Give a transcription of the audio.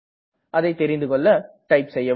அதை தெரிந்துகெள்ள இதை டைப் செய்யவும்